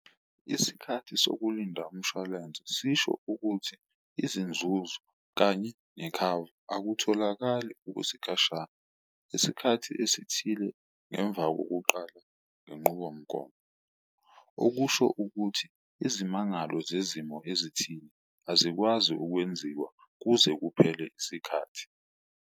Isikhathi sokulinda umshwalense sisho ukuthi izinzuzo kanye nekhava akutholakali ukwesikashana, isikhathi esithile ngemva kokuqala ngenqubomgomo. Okusho ukuthi izimangalo zezimo ezithile azikwazi ukwenziwa kuze kuphele isikhathi.